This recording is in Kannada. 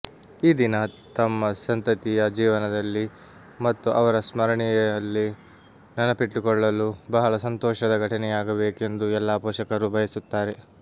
ಈ ದಿನ ತಮ್ಮ ಸಂತತಿಯ ಜೀವನದಲ್ಲಿ ಮತ್ತು ಅವರ ಸ್ಮರಣೆಯಲ್ಲಿ ನೆನಪಿಟ್ಟುಕೊಳ್ಳಲು ಬಹಳ ಸಂತೋಷದ ಘಟನೆಯಾಗಬೇಕೆಂದು ಎಲ್ಲಾ ಪೋಷಕರು ಬಯಸುತ್ತಾರೆ